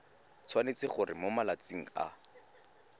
tshwanetse gore mo malatsing a